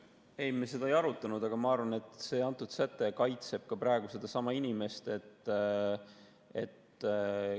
Ei, me seda ei arutanud, aga ma arvan, et see säte kaitseb sedasama inimest ka praegu.